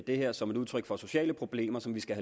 det her som et udtryk for sociale problemer som vi skal